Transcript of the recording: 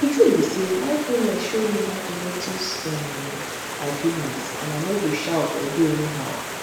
di tin be say mindfulness show me how to notice um my feelings and ano go shout or do anyhow